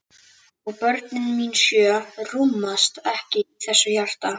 Og börnin mín sjö rúmast ekki í þessu hjarta.